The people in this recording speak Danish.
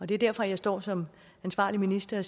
det er derfor jeg står som ansvarlig minister